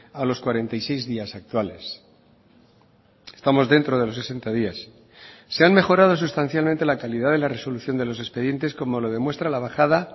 a los cuarenta y seis días actuales estamos dentro de los sesenta días se han mejorado sustancialmente la calidad de la resolución de los expedientes como lo demuestra la bajada